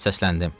Səsləndim: